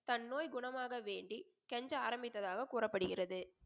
தன் நோய் குணமாக வேண்டி கெஞ்ச ஆரமித்தாக கூறப்படுகிறது.